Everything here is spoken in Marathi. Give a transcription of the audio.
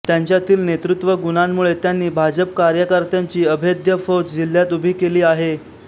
त्यांच्यातील नेतृत्वगुणांमुळे त्यांनी भाजप कार्यकर्त्यांची अभेद्य फौज जिल्ह्यात उभी केली आहे